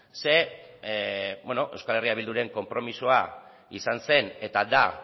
zeren euskal herria bilduren konpromisoa izan zen eta da